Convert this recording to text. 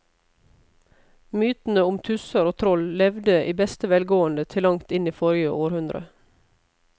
Mytene om tusser og troll levde i beste velgående til langt inn i forrige århundre.